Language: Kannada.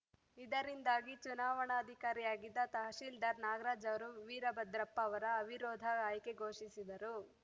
ಇದರಿಂದಾಗಿ ಚುನಾವಣಾಧಿಕಾರಿಯಾಗಿದ್ದ ತಹಸೀಲ್ದಾರ್‌ ನಾಗರಾಜ್‌ ಅವರು ವೀರಭದ್ರಪ್ಪ ಅವರ ಅವಿರೋಧ ಆಯ್ಕೆ ಘೋಷಿಸಿದರು